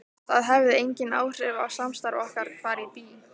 Það hefði engin áhrif á samstarf okkar hvar ég bý.